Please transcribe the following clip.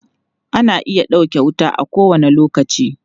Ana iya ɗauke wuta a kowane lokaci.